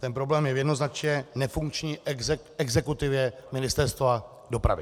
Ten problém je v jednoznačně nefunkční exekutivě Ministerstva dopravy.